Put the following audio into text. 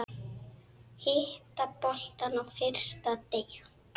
Hitta boltann á fyrsta teig.